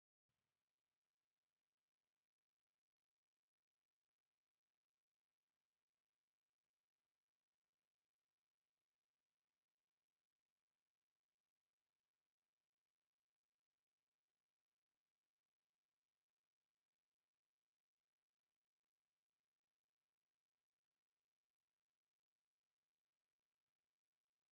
ነብሱ አብ ገነት ትንበር ኪሮሰይ ሽኮር! ኪሮሰይ ዝብል ፅሑፍ ብሰማያዊ ሕብሪ ተፃሒፉ ብፀሊም ድሕረ ገፅ ይርከብ፡፡ “ሰላም ምቅርቲ እያ ዋዛ አይንርአያ ዉሉድን ወላድን አይትፈላልን” እያ ዝብል ከዓ ብብጫ ሕብሪ ተፃሒፉ ብ ሊም ድሕረ ገፅ ይርከብ፡፡